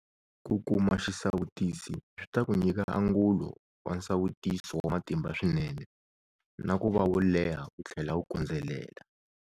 Ku kuma xisawutisi swi ta ku nyika angulo wa nsawutiso wa matimba swinene na ku va wo leha wu tlhela wu kondzelela.